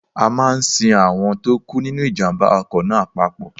A máa sin àwọn tó kú nínu ìjàmbá ọkọ̀ náà papọ̀.